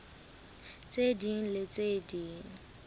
tse ding le tse ding